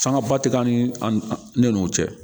Sangaba ti an ni an ne nun cɛ